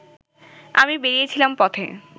আমি বেরিয়েছিলাম পথে